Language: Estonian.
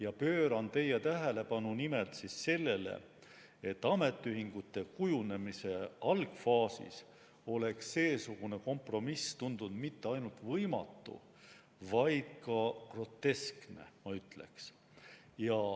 Ma juhin teie tähelepanu nimelt sellele, et ametiühingute kujunemise algfaasis oleks seesugune kompromiss tundunud mitte ainult võimatu, vaid ka groteskne, ma ütleks.